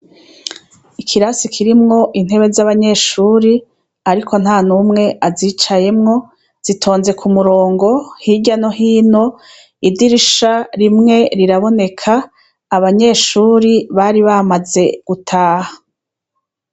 Ikirasi kirimwo intebe zabanyeshuri ariko ntanumwe azicayemwo zitonze kumurongo hirya no hino idirisha rimwe riraboneka abanyeshuri bari bamaze gutaha